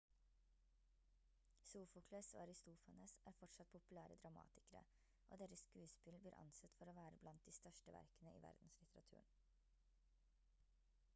sofokles og aristofanes er fortsatt populære dramatikere og deres skuespill blir ansett for å være blant de største verkene i verdenslitteraturen